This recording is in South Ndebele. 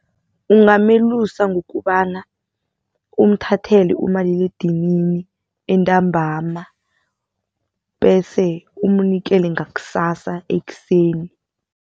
Ungamelusa ngokobana umthathele umaliledinini entambama bese umnikele ngakusasa ekuseni.